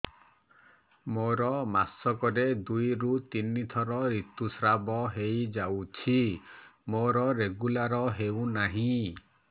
ମୋର ମାସ କ ରେ ଦୁଇ ରୁ ତିନି ଥର ଋତୁଶ୍ରାବ ହେଇଯାଉଛି ମୋର ରେଗୁଲାର ହେଉନାହିଁ